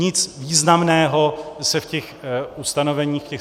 Nic významného se v těch stanoviscích nedočtete.